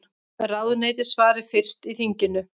Ráðuneyti svari fyrst í þinginu